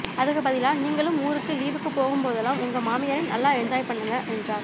அதுக்கு பதிலா நீங்களும் ஊருக்கு லீவுக்கு போகும் போதுலாம் உங்க மாமியாரை நல்லா என்ஜாய் பண்ணுங்க என்றார்